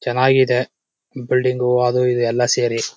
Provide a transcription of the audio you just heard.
ಚನ್ನಾಗಿದೆ ಬಿಲ್ಡಿಂಗು ಅದೂ ಇದೂ ಎಲ್ಲ ಸೇರಿ .